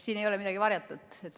Siin ei ole midagi varjatut.